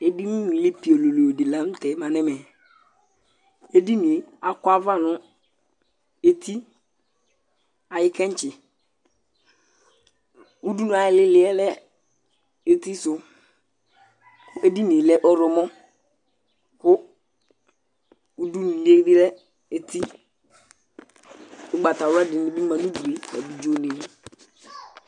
Ɛdiní nulí piololo di la ntɛ ma nʋ ɛmɛ Ɛdiní ye akɔ ayʋ ava nʋ eti ayʋ kɛntsi Ʋdʋnu ayʋ ìlí ìlí yɛ lɛ eti su Ɛdiní ye lɛ ɔwlɔmɔ kʋ ʋdʋnu li ye lɛ eti Ugbatawla dìní bi ma nʋ ʋdu ye, abidzo ni